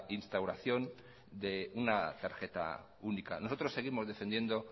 instauración de una tarjeta única nosotros seguimos defendiendo